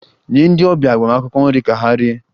Nye ndị ọbịa agbamakwụkwọ nri ka ha rie!